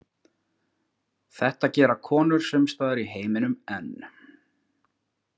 Þetta gera konur sumstaðar í heiminum enn.